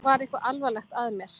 Var eitthvað alvarlegt að mér?